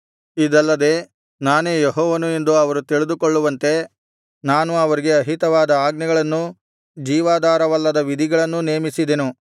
ಇದಲ್ಲದೆ ನಾನೇ ಯೆಹೋವನು ಎಂದು ಅವರು ತಿಳಿದುಕೊಳ್ಳುವಂತೆ ನಾನು ಅವರಿಗೆ ಅಹಿತವಾದ ಆಜ್ಞೆಗಳನ್ನೂ ಜೀವಾಧಾರವಲ್ಲದ ವಿಧಿಗಳನ್ನೂ ನೇಮಿಸಿದೆನು